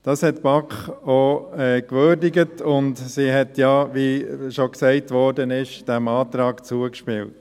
Die BaK hat dies auch gewürdigt, und sie hat, wie bereits gesagt wurde, diesem Antrag zugestimmt.